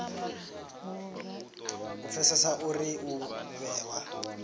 u pfesesa uri u vhewa